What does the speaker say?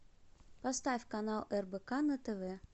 поставь канал рбк на тв